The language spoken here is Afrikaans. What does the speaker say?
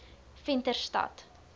venterstad